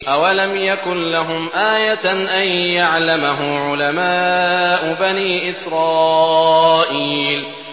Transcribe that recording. أَوَلَمْ يَكُن لَّهُمْ آيَةً أَن يَعْلَمَهُ عُلَمَاءُ بَنِي إِسْرَائِيلَ